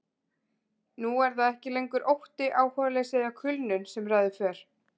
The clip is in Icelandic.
Nú er það ekki lengur ótti, áhugaleysi eða kulnun sem ræður för.